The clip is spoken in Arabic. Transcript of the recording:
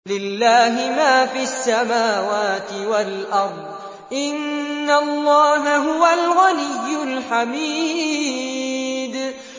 لِلَّهِ مَا فِي السَّمَاوَاتِ وَالْأَرْضِ ۚ إِنَّ اللَّهَ هُوَ الْغَنِيُّ الْحَمِيدُ